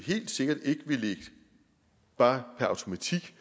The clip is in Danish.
vi helt sikkert ikke bare per automatik